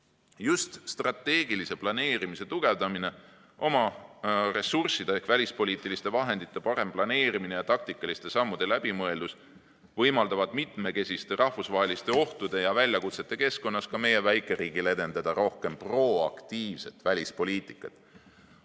Just strateegilise planeerimise tugevdamine, oma ressursside ehk välispoliitiliste vahendite parem planeerimine ja taktikaliste sammude läbimõeldus võimaldavad mitmekesiste rahvusvaheliste ohtude ja väljakutsete keskkonnas ka meie väikeriigil edendada rohkem proaktiivset välispoliitikat.